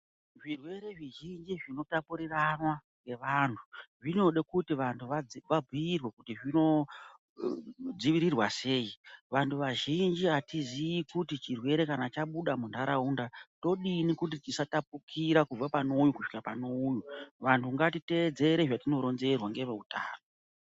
Zvirwere zvi zhinji zvino tapurirwana nge vantu zvinode kuti vantu va bhuyirwe kuti zvino dzivirirwa sei vantu vazhinji atizi kuti kana chirwere kana chabuda mu ndaraunda todini kuti chisa tapurika kubva pane uyu kusvika pane uyu vanhu ngati teedzera zvwtino ronzerwa nge veutano.